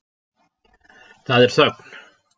Það er þögn.